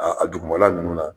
A dugumala ninnu na